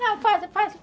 Não, faça, faça.